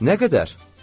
Nə qədər?